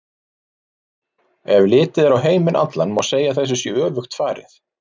Ef litið er á heiminn allan má segja að þessu sé öfugt farið.